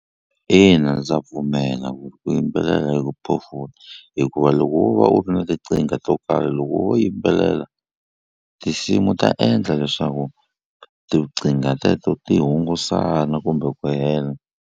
Ina ndza pfumela ku yimbelela ii ku phofula hikuva loko wo va u ri na to karhi loko wo yimbelela tinsimu ta endla leswaku teto ti hungusana kumbe ku hela.